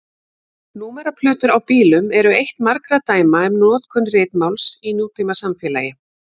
Númeraplötur á bílum eru eitt margra dæma um notkun ritmáls í nútímasamfélagi.